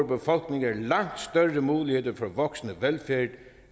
befolkninger langt større muligheder for voksende velfærd end